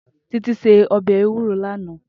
Titi sé òbè éwúró làná